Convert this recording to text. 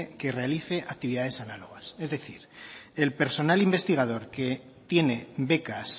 que realice actividades análogas es decir el personal investigador que tiene becas